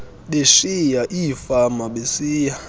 beshiya iifama besiya